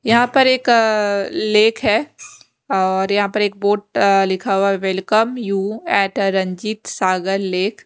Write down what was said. यहां पर एक अ लेख है और यहां पर एक बोट अ लिखा हुआ है welcome you at uh Ranjit Sagar lake --